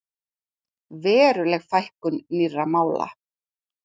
Veruleg fækkun nýrra mála